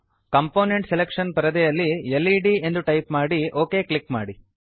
component selection ಪರದೆಯಲ್ಲಿ LED ಎಂದು type ಮಾಡಿ ಒಕ್ ಕ್ಲಿಕ್ ಮಾಡಿ